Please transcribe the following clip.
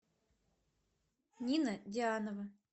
нина дианова